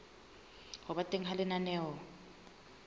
ho ba teng ha lenaneo